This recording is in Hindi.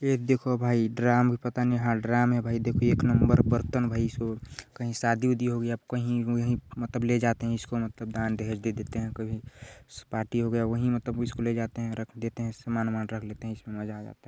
ये देखो भाई ड्राम है पता नहीं हाँ ड्राम है भाई देखो एक नंबर बर्तन भाई स कही शादी वुडी हो गया अब कही वही मतलब ले जाते है इसको दान दहेज़ दे देते है कभी पार्टी हो गया मतलब इसको लेजाते है रख देते है सामान वमान रख लेते है इसमें मज़ा आ जाता है।